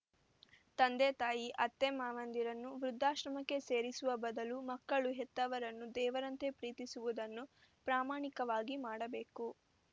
ತಂದೆತಾಯಿ ಅತ್ತೆಮಾವಂದಿರನ್ನು ವೃದ್ಧಾಶ್ರಮಕ್ಕೆ ಸೇರಿಸುವ ಬದಲು ಮಕ್ಕಳು ಹೆತ್ತವರನ್ನು ದೇವರಂತೆ ಪ್ರೀತಿಸುವುದನ್ನು ಪ್ರಮಾಣಿಕವಾಗಿ ಮಾಡಬೇಕು